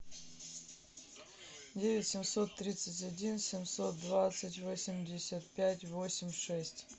девять семьсот тридцать один семьсот двадцать восемьдесят пять восемь шесть